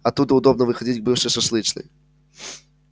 оттуда удобно выходить к бывшей шашлычной